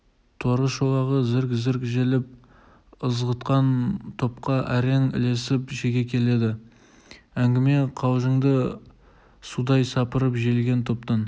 торы шолағы зірк-зірк желіп ызғытқан топқа әрең ілесіп шеге келеді әңгіме-қалжынды судай сапырып желген топтан